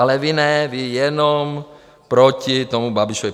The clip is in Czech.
Ale vy ne, vy jenom proti tomu Babišovi.